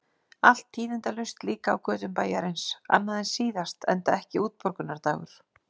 Allt tíðindalaust líka á götum bæjarins, annað en síðast, enda ekki útborgunardagur.